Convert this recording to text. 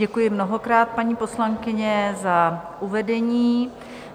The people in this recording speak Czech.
Děkuji mnohokrát, paní poslankyně, za uvedení.